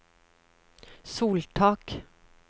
soltak